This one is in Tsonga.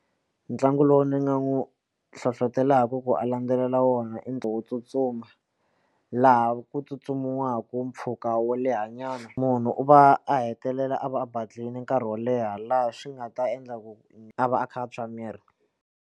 Ntlangu lowu ni nga n'wi hlohlotelaku ku a landzelela wona i wo tsutsuma laha ku tsutsumiwaku mpfhuka wo lehanyana munhu u va a hetelela a va a badlhile nkarhi wo leha laha swi nga ta endla ku a va a kha a tswa miri.